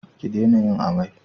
Ki dena yin amai!